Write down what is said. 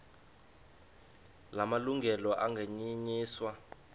la malungelo anganyenyiswa